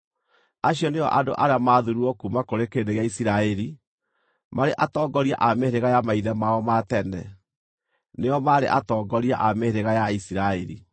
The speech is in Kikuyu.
Acio nĩo andũ arĩa maathuurirwo kuuma kũrĩ kĩrĩndĩ gĩa Isiraeli, marĩ atongoria a mĩhĩrĩga ya maithe mao ma tene. Nĩo maarĩ atongoria a mĩhĩrĩga ya Isiraeli.